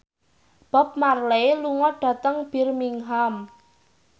Bob Marley lunga dhateng Birmingham